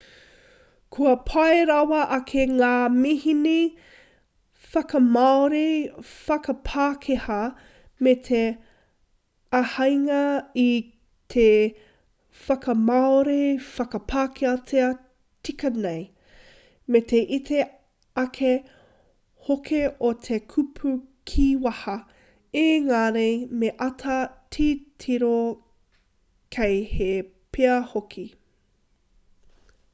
kua pai rawa ake ngā mihini whakamāori/whakapākehā me te āheinga ki te whakamāori/whakapākehā tika nei me te iti ake hoki o te kupu kīwaha ēngari me āta titiro kei hē pea hoki